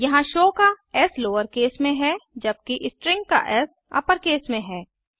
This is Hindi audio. यहाँ शो का एस लोवरकेस में है जब कि स्ट्रिंग का एस अपरकेस में है